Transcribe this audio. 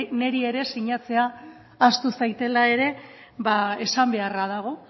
niri ere sinatzea ahaztu zaitela ere esan beharra dago